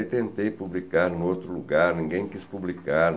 Aí tentei publicar no outro lugar, ninguém quis publicar.